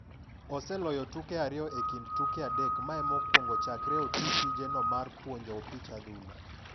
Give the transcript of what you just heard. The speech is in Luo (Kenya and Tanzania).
Oseloye tuke ariyo e kind tuke adek mae mokwongo chakre oti tije no mar puonjo opich adhula.